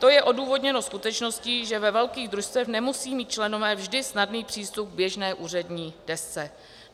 To je odůvodněno skutečností, že ve velkých družstvech nemusí mít členové vždy snadný přístup k běžné úřední desce.